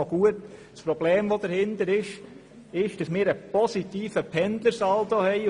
Es geht um das Problem, dass wir einen positiven Pendlersaldo haben.